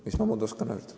Mis ma muud oskan öelda.